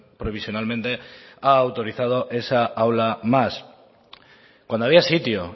provisionalmente ha autorizado esa aula más cuando había sitio